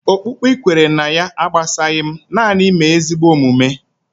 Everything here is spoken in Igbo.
Okpukpe ị kwere ná ya agbasaghi m, nanị mee ezigbo omume